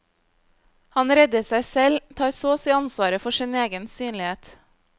Han redder seg selv, tar så og si ansvaret for sin egen synlighet.